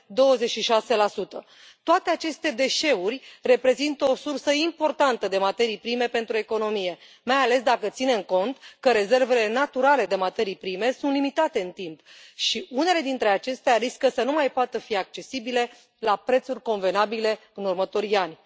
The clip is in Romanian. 26 Toate aceste deșeuri reprezintă o sursă importantă de materii prime pentru economie, mai ales dacă ținem cont că rezervele naturale de materii prime sunt limitate în timp și unele dintre acestea riscă să nu mai poată fi accesibile la prețuri convenabile în următorii ani.